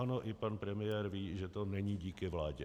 Ano, i pan premiér ví, že to není díky vládě.